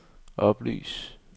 oplys